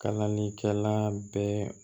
Kalanikɛla bɛɛ